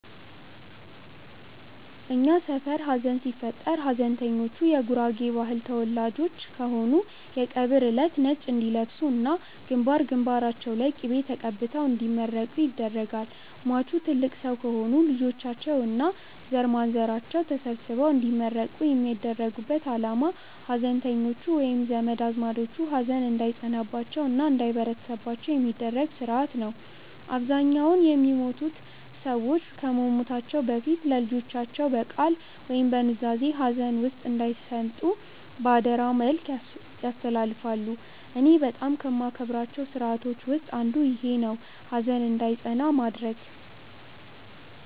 እኛ ሰፈር ሀዘን ሲፈጠር ሀዘንተኞቹ የጉራጌ ባህል ተወላጆች ከሆኑ የቀብር እለት ነጭ እንዲለብሱ እና ግንባር ግንባራቸው ላይ ቅቤ ተቀብተው እንዲመረቁ ይደረጋል። ሟቹ ትልቅ ሰው ከሆኑ ልጆቻቸው እና ዘርማንዘራቸው ተሰብስበው እንዲመረቁ የሚያደርጉበት አላማ ሀዘንተኞቹ ወይም ዘመድ አዝማዶቹ ሀዘን እንዳይጸናባቸው እና እንዳይበረታባቸው የሚደረግበት ስርአት ነው። አብዛኛውን የሞቱት ሰዎች ከመሞታቸው በፊት ለልጆቻቸው በቃል ወይም በኑዛዜ ሀዘን ውስጥ እንዳይሰምጡ በአደራ መልክ ያስተላልፋሉ። እኔ በጣም ከማከብራቸው ስርአቶች ውስጥ አንዱ ይኼ ነው፣ ሀዘን እንዳይጸና ማድረግ።